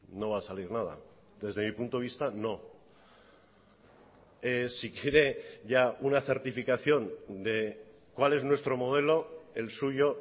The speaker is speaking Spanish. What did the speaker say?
no va a salir nada desde mi punto de vista no si quiere ya una certificación de cuál es nuestro modelo el suyo